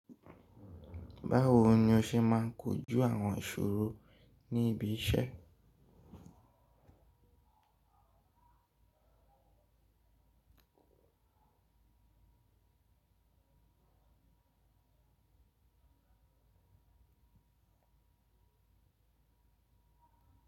Báwo ni o ṣe máa ń kojú àwọn ìṣòro ní ibi iṣẹ́?